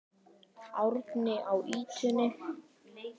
Árni á ýtunni.